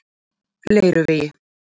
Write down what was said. Leiruvegi